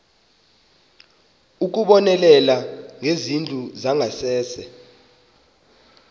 ukubonelela ngezindlu zangasese